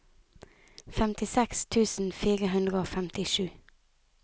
femtiseks tusen fire hundre og femtisju